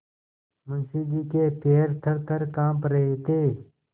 मुंशी जी के पैर थरथर कॉँप रहे थे